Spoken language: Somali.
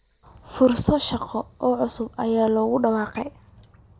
Fursado shaqo oo cusub ayaa lagu dhawaaqay.